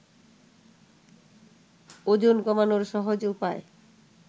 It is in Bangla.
ওজন কমানোর সহজ উপায়